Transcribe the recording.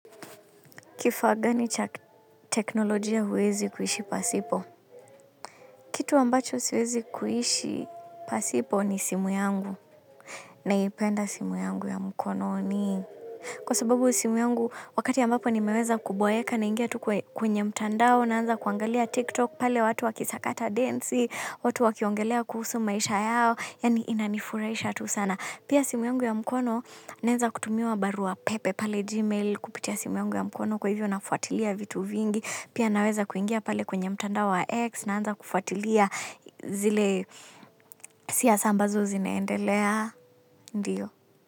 Kifaa gani cha teknolojia huwezi kuishi pasipo. Kitu ambacho siwezi kuishi pasipo ni simu yangu naipenda simu yangu ya mkononi. Kwa sababu simu yangu wakati ambapo nimeweza kuboeka naingia tu kwenye mtandao naanza kuangalia TikTok pale watu wakisakata densi, watu wakiongelea kuhusu maisha yao, yaani inanifurahisha tu sana. Pia simu yungu ya mkono, naeza kutumiwa barua pepe pale gmail kupitia simu yungu ya mkono kwa hivyo nafuatilia vitu vingi. Pia naweza kuingia pale kwenye mtandao wa x naanza kufuatilia zile siasa ambazo zinaendelea. Ndiyo.